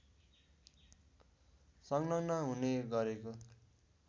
संलग्न हुने गरेको